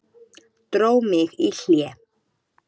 Dró mig í hlé.